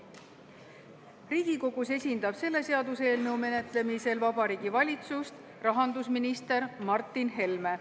Riigikogus esindab selle seaduseelnõu menetlemisel Vabariigi Valitsust rahandusminister Martin Helme.